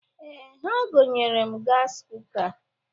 Ee, ha gonyere m gasị kuka.